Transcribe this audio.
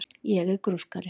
Ég er grúskari.